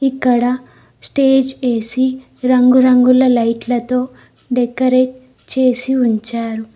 ఇక్కడ stage AC రంగురంగుల లైట్లతో డెకరేట్ చేసి ఉంచారు.